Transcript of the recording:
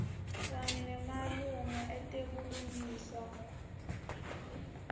kanye nemalunga etebulungiswa